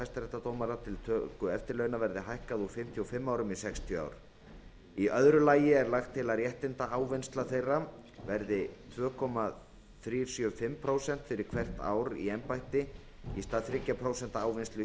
hæstaréttardómara til töku eftirlauna verði hækkað úr fimmtíu og fimm árum í sextíu ár í öðru lagi er lagt til að réttindaávinnsla þeirra verði tvö komma þrjú sjö fimm prósent fyrir hvert ár í embætti í stað þriggja prósenta ávinnslu